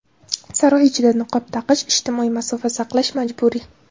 Saroy ichida niqob taqish, ijtimoiy masofa saqlash majburiy.